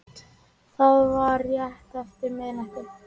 Það var rétt eftir miðnætti